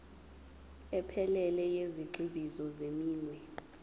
ephelele yezigxivizo zeminwe